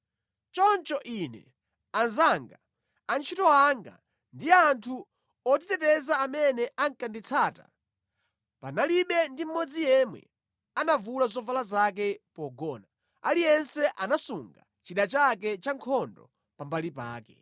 Choncho ine, anzanga, antchito anga, ndi anthu otiteteza amene ankanditsata panalibe ndi mmodzi yemwe anavula zovala zake pogona. Aliyense anasunga chida chake chankhondo pambali pake.